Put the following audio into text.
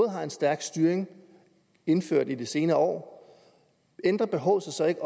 har en stærk styring indført i de senere år ændrer behovet sig så ikke